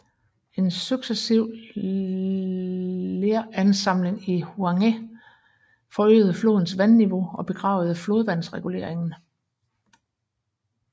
En successiv leransamling i Huanghe forøgede flodens vandniveau og begravede flodvandsreguleringen